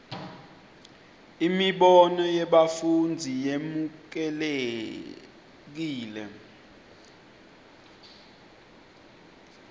imibono yebafundzi yemukelekile